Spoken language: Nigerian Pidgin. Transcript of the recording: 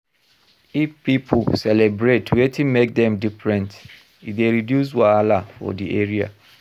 If pipo celebrate wetin make dem different, e dey reduce wahala for di area